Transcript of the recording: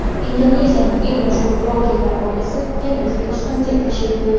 Indoneziyaning eng mashhur bloggerlar oilasi yana O‘zbekistonga tashrif buyurdi.